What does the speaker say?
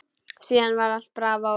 Síðan var allt bravó.